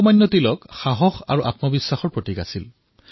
লোকমান্য তিলক সাহসী আৰু আত্মবিশ্বাসী আছিল